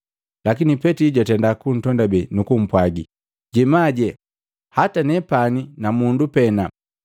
Lakini Petili jwatenda kuntondabe, nukumpwagi, “Jemaje, hata nepani na mundu pena.”